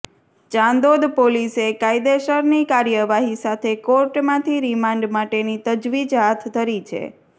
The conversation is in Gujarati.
ચાંદોદ પોલીસે કાયદેસરની કાર્યવાહી સાથે કોર્ટમાંથી રિમાન્ડ માટેની તજવીજ હાથ ધરી છે